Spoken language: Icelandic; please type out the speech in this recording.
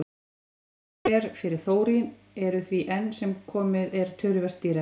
Ný kjarnorkuver fyrir þórín eru því enn sem komið er töluvert dýrari.